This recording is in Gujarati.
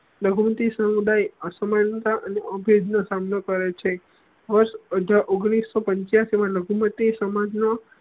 લઘુમતી સમુદાય અસામનતા અને નો સામનો કરે છે વર્ષ અઠાર ઓઘ્નીસ સૌ પન્ચીયાસી મા લઘુમતી સમાજ નો